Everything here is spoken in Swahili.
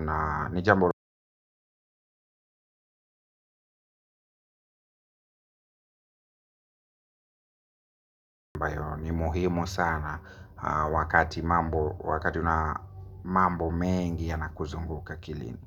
Na ni jambo ambayo ni muhimu sana. Wakati mambo mengi ya nakuzunguka akilini.